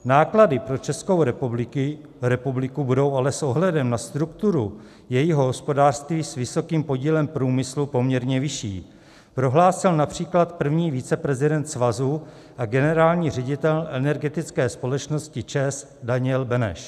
Náklady pro Českou republiku budou ale s ohledem na strukturu jejího hospodářství s vysokým podílem průmyslu poměrně vyšší, prohlásil například první viceprezident svazu a generální ředitel energetické společnosti ČEZ Daniel Beneš.